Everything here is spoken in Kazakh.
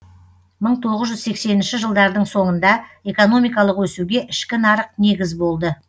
мың тоғыз жүз сексенінші жылдардың соңында экономикалық өсуге ішкі нарық негіз болды